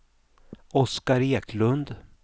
Oscar Eklund